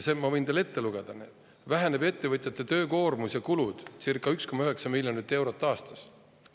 Ma võin teile selle ette lugeda: väheneb ettevõtjate töökoormus ja kulud circa 1,9 miljonit eurot aastas.